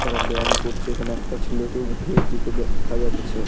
তারা ব্যাম করছে এখানে একটা ছেলেকে উঠে যেতে দেখা যাচ্ছে।